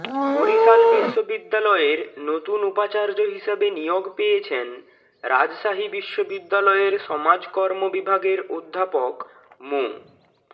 বরিশাল বিশ্ববিদ্যালয়ের নতুন উপাচার্য হিসেবে নিয়োগ পেয়েছেন রাজশাহী বিশ্ববিদ্যালয়ের সমাজকর্ম বিভাগের অধ্যাপক মো